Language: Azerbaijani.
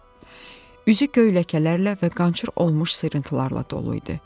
Üzü göy ləkələrlə və qançır olmuş sürtüntülərlə dolu idi.